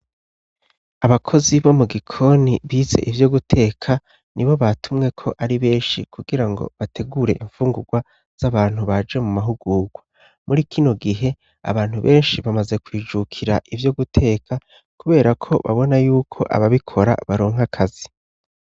abakozi bo mu gikoni bize ivyo guteka ni bo batumwe ko ari benshi kugira ngo bategure imfungurwa z'abantu baje mu mahugurwa muri kino gihe abantu benshi bamaze kwijukira ivyo guteka kubera ko babona y'uko aba bikora baronka akazi